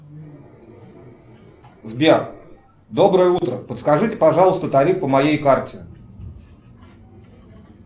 сбер доброе утро подскажите пожалуйста тариф по моей карте